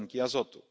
tlenki azotu.